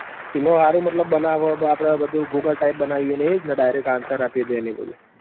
એમાં હારું મતલબ બનાવ હ આપડ બધું google type બનાવ્યું હ એજન direct answer આપીદે હ એવું બધું